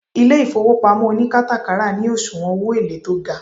ile ifowopamo onikatakara ni osuwon owo ele to ga